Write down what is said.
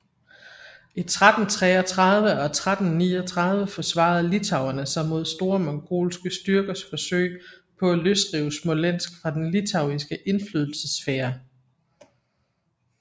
I 1333 og 1339 forsvarede litauerne sig mod store mongolske styrkers forsøg på at løsrive Smolensk fra den litauiske indflydelsessfære